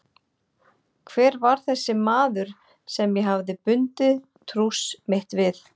Hver var þessi maður sem ég hafði bundið trúss mitt við?